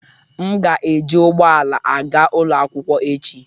M ga-eji ụgbọ ala aga ụlọ akwụkwọ echi.